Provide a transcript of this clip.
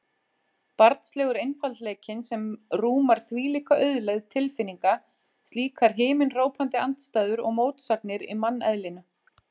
Barnslegur einfaldleikinn sem rúmar þvílíka auðlegð tilfinninga, slíkar himinhrópandi andstæður og mótsagnir í manneðlinu.